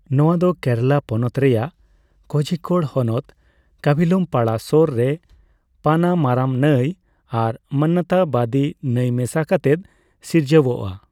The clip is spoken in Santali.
ᱱᱚᱣᱟ ᱫᱚ ᱠᱮᱨᱟᱞᱟ ᱯᱚᱱᱚᱛ ᱨᱮᱭᱟᱜ ᱠᱳᱡᱷᱤᱠᱳᱲ ᱦᱚᱱᱚᱛ ᱠᱟᱵᱷᱤᱞᱩᱢᱯᱟᱲᱟ ᱥᱳᱨ ᱨᱮ ᱯᱟᱱᱟᱢᱟᱨᱟᱢ ᱱᱟᱹᱭ ᱟᱨ ᱢᱟᱱᱚᱱᱛᱟᱵᱟᱫᱤ ᱱᱟᱹᱭ ᱢᱮᱥᱟ ᱠᱟᱛᱮᱫ ᱥᱤᱨᱡᱟᱹᱣᱚᱜᱼᱟ ᱾